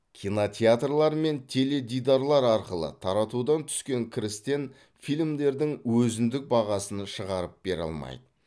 кинотеатрлар мен теледидарлар арқылы таратудан түскен кірістен фильмдердің өзіндік бағасын шығарып бере алмайды